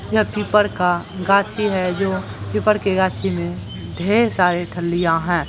यह पीपर का गाछी हेय जो पीपर के गाछी में ढेर सारी ठलियां है।